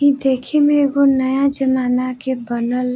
इ देखे में एगो नया जमाना के बनल --